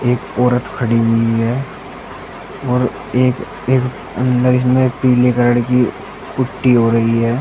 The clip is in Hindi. औरत खड़ी हुई है और एक एक अंदर इसमें पीले कलर की पुट्टी हो रही है।